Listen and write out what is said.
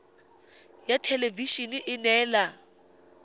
ya thelebi ene e neela